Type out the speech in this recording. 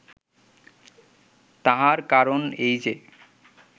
তাহার কারণ এই যে